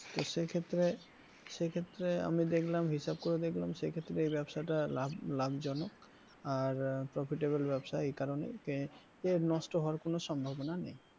তো সে ক্ষেত্রে সে ক্ষেত্রে আমি দেখলাম হিসাব করে দেখলাম সে ক্ষেত্রে এই ব্যবসাটা লাভ লাভজনক আর profitable ব্যবসা এ কারণেই যে নষ্ট হওয়ার কোন সম্ভাবনা নেই,